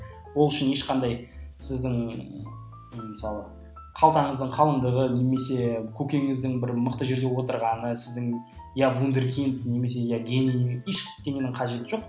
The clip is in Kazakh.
ол үшін ешқандай сіздің мысалы қалтаңыздың қалыңдығы немесе көкеңіздің бір мықты жерде отырғаны сіздің иә вундеркинг немесе иә гений ештеңенің қажеті жоқ